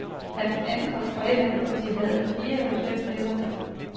Han ankom fredag, og de havde fire eller fem nætter der.